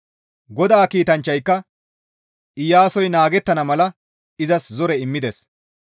GODAA kiitanchchayka Iyaasoy naagettana mala izas zore immides.